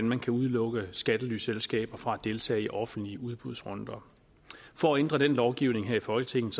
man kan udelukke skattelyselskaber fra at deltage i offentlige udbudsrunder for at ændre den lovgivning her i folketinget